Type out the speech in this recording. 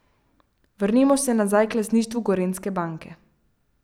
Vrnimo se nazaj k lastništvu Gorenjske banke.